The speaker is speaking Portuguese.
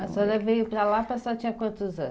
A senhora veio para Lapa a senhora tinha quantos anos?